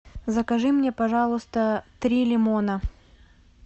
закажи мне пожалуйста три лимона